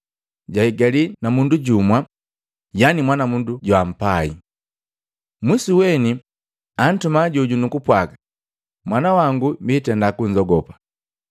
Jahigalii na mundu jumu, yani mwanamundu joampai. Mwisu weni antuma joju nukupwaga, ‘Mwana wangu biitenda kunzogopa.’